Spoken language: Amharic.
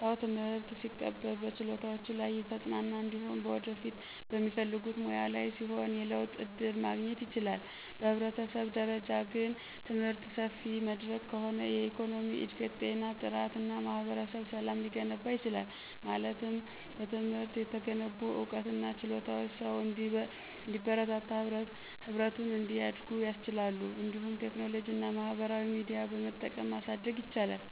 ሰው ትምህርት ሲቀበል በችሎታዎቹ ላይ የተጽናና እንዲሁም በወደፊት በሚፈልጉት ሙያ ላይ ሲሆን የለውጥ ዕድል ማግኘት ይችላል። በህብረተሰብ ደረጃ ግን፣ ትምህርት ሰፊ መድረክ ከሆነ የኢኮኖሚ እድገት፣ ጤና ጥራት እና ማህበረሰብ ሰላም ሊገነባ ይችላል። ማለት በትምህርት የተገነቡ ዕውቀትና ችሎታዎች ሰውን እንዲበረታና ህብረቱን እንዲያድጉ ያስችላሉ። እንዲሁም ቴክኖሎጂና ማህበራዊ ሚዲያ በመጠቀም ማሳደግ ይቻላል።